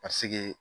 Ka seg'i